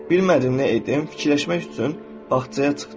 Bilmədim nə edim, fikirləşmək üçün bağçaya çıxdım.